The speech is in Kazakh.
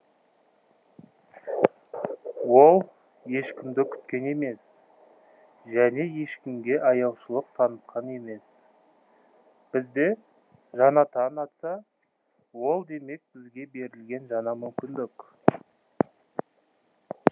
ол ешкімді күткен емес және ешкімге аяушылық танытқан емес бізде жаңа таң атса ол демек бізге берілген жаңа мүмкіндік